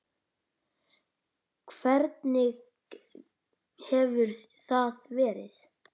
Hvernig hefur það verið?